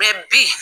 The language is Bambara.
bi